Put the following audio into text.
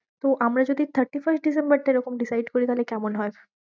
তো আমরা যদি thirty-first ডিসেম্বরটা এরকম decide করি তাহলে কেমন হয়?